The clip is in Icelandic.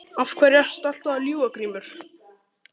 Af hverju ertu alltaf að ljúga Grímur?